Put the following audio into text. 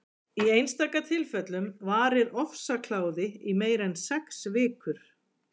í einstaka tilfellum varir ofsakláði í meira en sex vikur